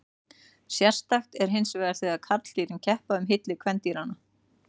Sérstakt er hinsvegar þegar karldýrin keppa um hylli kvendýranna.